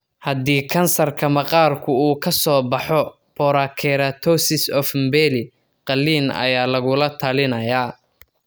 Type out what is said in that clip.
Haddii kansarka maqaarku uu ka soo baxo porokeratosis of Mibelli, qalliin ayaa lagula talinayaa.